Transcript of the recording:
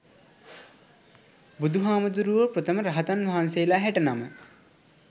බුදුහාමුදුරුවො ප්‍රථම රහතන් වහන්සේලා හැට නම